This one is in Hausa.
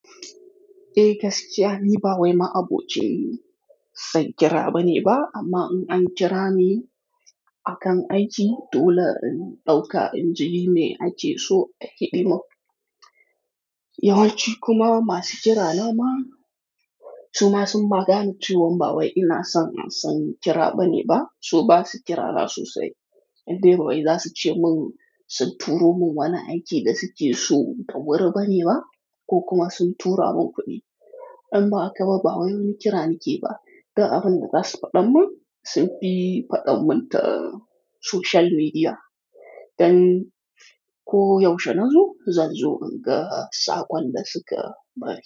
Eh gaskiya ni ba wai ma'aɓo ce san kira bane ba, amma in an kira ni akan aiki dole in ɗauka inji me ake so ahiɗi mun. Yawanci kuma masu kira na ma su ma sun ma gane cewan ba wai ina son an san kira bane ba, su ba su kira rasu sai idan bawai za su ce mun sun turo mun wani aiki da suke so dawuri bane ba ko kuma sun tura mun kuɗi. Amma a kaba ba wai wani kira nake ba. Ga abin da zasku faɗa mun sun fi faɗan mun ta social media. Dan ko yaushe na zo, zan zo in ga saƙon da suka bani.